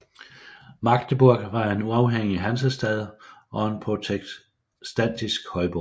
Magdeburg var en uafhængig hansestad og en protestantisk højborg